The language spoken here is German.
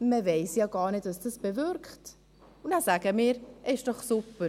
«Man weiss ja gar nicht, was es bewirkt», und dann sagen wir: «Ist doch super!